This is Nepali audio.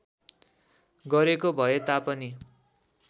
गरेको भए तापनि